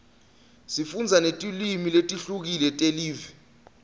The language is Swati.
sifundza netilwimi letihlukile telive